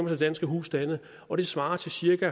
til danske husstande og det svarer til cirka